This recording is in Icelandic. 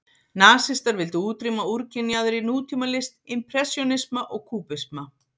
Nasistar vildu útrýma úrkynjaðri nútímalist, impressjónisma og kúbisma.